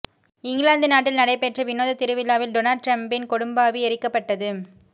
இங்கிலாந்து நாட்டில் நடைபெற்ற வினோத திருவிழாவில் டொனால்ட் டிரம்ப்பின் கொடும்பாவி எரிக்கப்பட்டது